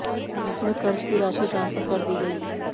जिसमें कर्ज की राशि ट्रांसफर कर दी गई